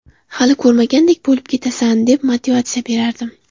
Hali ko‘rmagandek bo‘lib ketasan’, deb motivatsiya berardim.